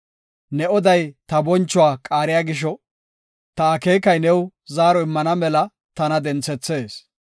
Ne oday ta bonchuwa qaariya gisho, ta akeekay new zaaro immana mela tana denthethees.